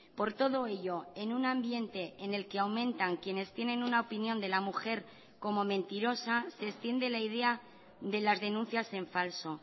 por todo ello en un ambiente en el que aumentan quienes tienen una opinión de la mujer como mentirosa se extiende la idea de las denuncias en falso